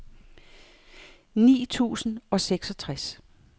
ni tusind og seksogtres